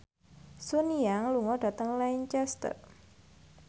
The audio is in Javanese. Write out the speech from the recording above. Sun Yang lunga dhateng Lancaster